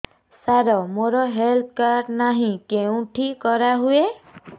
ସାର ମୋର health card ନାହିଁ କେଉଁଠି କରା ହୁଏ